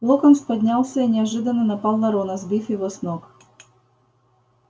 локонс поднялся и неожиданно напал на рона сбив его с ног